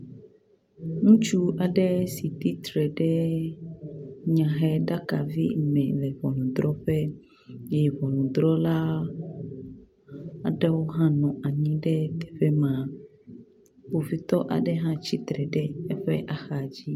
Ŋutsu aɖe si titre ɖe nyaheɖaka vi me le ʋɔnuɖrɔƒe eye ʋɔnuɖrɔla aɖewo hã nɔ anyi ɖe teƒe ma, kpovitɔ aɖe hã tsitre ɖe eƒe axadzi.